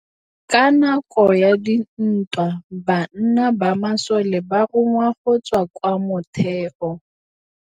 Ka nakô ya dintwa banna ba masole ba rongwa go tswa kwa mothêô.